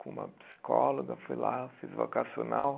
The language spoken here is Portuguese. Com uma psicóloga, fui lá, fiz vocacional.